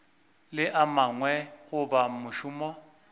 le a mangwe goba mošomo